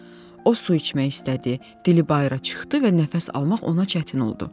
O su içmək istədi, dili bayıra çıxdı və nəfəs almaq ona çətin oldu.